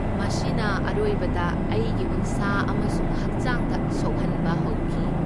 ꯃꯁꯤꯅ ꯑꯔꯣꯏꯕꯗ ꯑꯩꯒꯤ ꯎꯟꯁꯥ ꯑꯃꯁꯨꯡ ꯍꯛꯆꯥꯡꯗ ꯁꯣꯛꯍꯟꯕ ꯍꯧꯈꯤ꯫